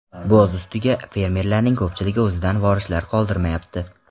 Boz ustiga, fermerlarning ko‘pchiligi o‘zidan vorislar qoldirmayapti.